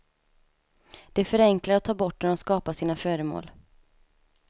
De förenklar och tar bort när de skapar sina föremål.